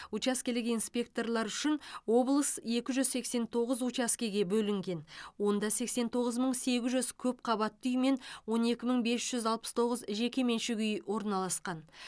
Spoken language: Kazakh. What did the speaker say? учаскелік инспекторлар үшін облыс екі жүз сексен тоғыз учаскеге бөлінген онда сексен тоғыз мың сегіз жүз көпқабатты үй мен он екі мың бес жүз алпыс тоғыз жеке меншік үй орналастқан